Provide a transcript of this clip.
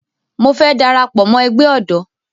Mo fẹ́ dara pọ̀ mọ́ ẹgbẹ́ ọ̀dọ́